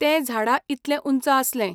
तें झाडा इतलें उंच आसलें.